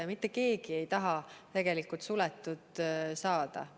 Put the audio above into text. Ja mitte keegi ei taha tegelikult suletud saada.